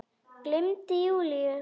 Gleymdi Júlíu.